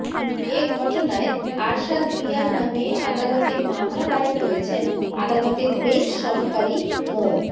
এ ঘটনায় আরশাদ মিয়ার নামে আদালতে মামলা দায়ের করেছেন আদালতের বেঞ্চ সহকারী মো